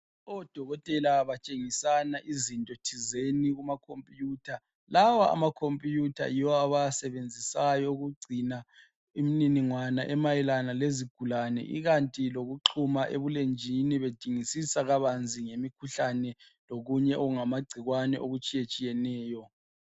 Odokotela batshengisana izintothizeni kumakhomputha lawa amakhomputha yiwo abawasebenzisayo ukugcina imniningwana emayelana lezigulane ikanti lokuxuma ebulenjini bedingisisa kabanzi ngemikhuhlane lokunye okungamagcikwane okutshiyetshiyeneyo.